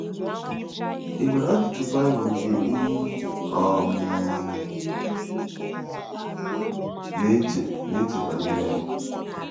Ị nwere ajụjụ Baịbụl nke ị um na-eche na-eche banyere ya?